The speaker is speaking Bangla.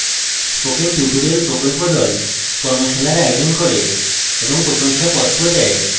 spoken tutorial প্রকল্প the কর্মশালার আয়োজন করে এবং প্রশংসাপত্র দেয়